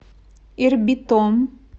ирбитом